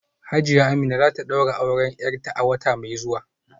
Hajiya Amina za ta daura auren ‘yarta a wata mai zuwa